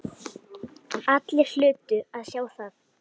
Allir hlutu að sjá það.